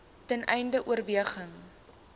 ten einde oorweging